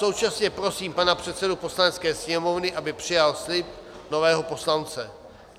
Současně prosím pana předsedu Poslanecké sněmovny, aby přijal slib nového poslance.